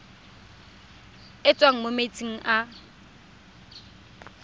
e tswang mo metsing a